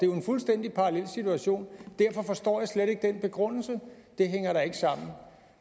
jo en fuldstændig parallel situation derfor forstår jeg slet ikke den begrundelse det hænger da ikke sammen